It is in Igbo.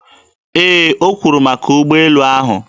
Ee, o kwuru maka ụgbọelu ahụ.